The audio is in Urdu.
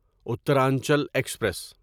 اترانچل ایکسپریس